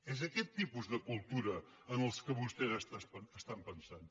és aquest tipus de cultura en què vostès estan pensant